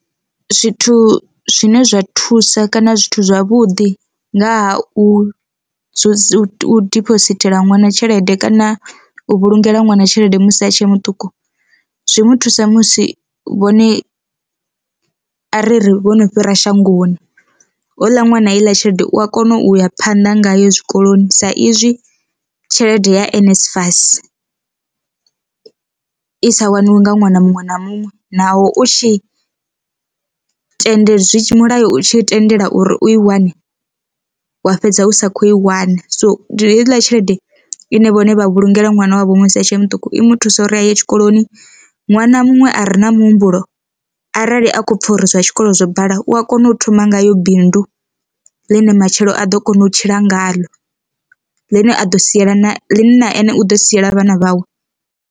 Zwithu zwine zwa thusa kana zwithu zwavhuḓi nga ha u u dibosithela ṅwana tshelede kana u vhulungela ṅwana tshelede musi a tshe muṱuku, zwi muthusa musi vhone ariri vhono fhira shangoni houḽa ṅwana heiḽa tshelede u a kona u ya phanḓa ngayo zwikoloni sa izwi tshelede ya NSFAS i sa waniwi nga ṅwana muṅwe na muṅwe naho u tshi tende mulayo tshi tendela uri u i wane wa fhedza u sa kho i wana. So ndi heiḽa tshelede ine vhone vha vhulungela ṅwana wavho musi a tshe muṱuku i muthusa uri a ye tshikoloni ṅwana muṅwe a re na muhumbulo arali a kho pfha uri zwa tshikolo zwo bala u a kona u thoma ngayo bindu ḽine matshelo a ḓo kona u tshila ngaḽo ḽi ne a ḓo siela na ḽi na ene u ḓo siela vhana vhawe.